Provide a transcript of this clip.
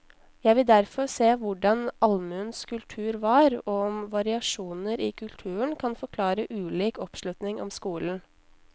Jeg vil derfor se på hvordan allmuens kultur var, og om variasjoner i kulturen kan forklare ulik oppslutning om skolen.